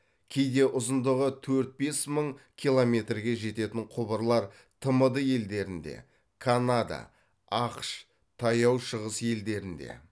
кейде ұзындығы төрт бес мың километрге жететін құбырлар тмд елдерінде канада ақш таяу шығыс елдерінде